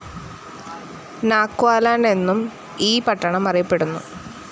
നാക്വാലണ്ട് എന്നും ഈ പട്ടണം അറിയപ്പെടുന്നു.